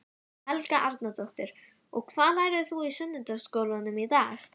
Helga Arnardóttir: Og hvað lærðir þú í sunnudagaskólanum í dag?